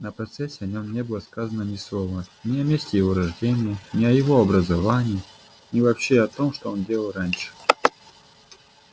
на процессе о нем не было сказано ни слова ни о месте его рождения ни о его образовании ни вообще о том что он делал раньше